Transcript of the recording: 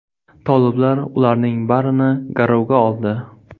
Toliblar ularning barini garovga oldi.